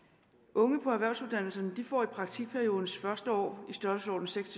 unge på erhvervsuddannelserne får i praktikperiodens første år i størrelsesordenen seks